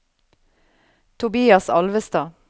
Tobias Alvestad